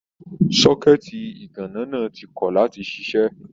Sọkẹ̀tí iganna náà ti kọ láti ṣiṣẹ.